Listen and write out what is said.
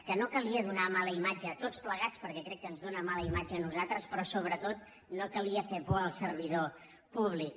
que no calia do·nar mala imatge a tots plegats perquè crec que ens dóna mala imatge a nosaltres però sobretot no calia fer por al servidor públic